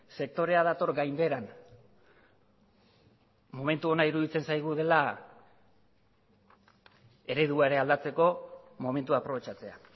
sektorea dator gainbeheran momentu ona iruditzen zaigu dela eredua ere aldatzeko momentua aprobetxatzea